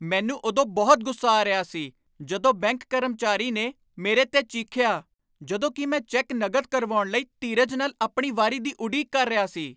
ਮੈਨੂੰ ਉਦੋਂ ਬਹੁਤ ਗੁੱਸਾ ਆ ਰਿਹਾ ਸੀ ਜਦੋਂ ਬੈਂਕ ਕਰਮਚਾਰੀ ਨੇ ਮੇਰੇ 'ਤੇ ਚੀਖਿਆ ਜਦੋਂ ਕਿ ਮੈਂ ਚੈੱਕ ਨਕਦ ਕਰਵਾਉਣ ਲਈ ਧੀਰਜ ਨਾਲ ਆਪਣੀ ਵਾਰੀ ਦੀ ਉਡੀਕ ਕਰ ਰਿਹਾ ਸੀ।